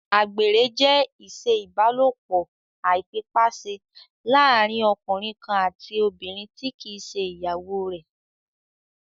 Àgbèrè jẹ́ ìṣe ìbálòpọ̀ àìfipáṣe láàrín ọkùnrin kan àti obìnrin tí kìí ṣe ìyàwó rẹ̀